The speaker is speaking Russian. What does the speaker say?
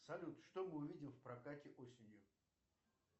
салют что мы увидим в прокате осенью